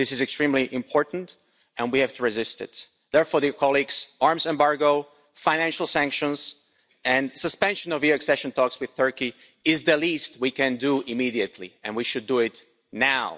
This is extremely important, and we have to resist it. Therefore, an arms embargo, financial sanctions and the suspension of EU accession talks with Turkey is the least we can do immediately, and we should do it now.